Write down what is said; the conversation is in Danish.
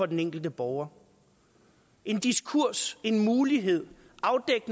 den enkelte borger en diskurs en mulighed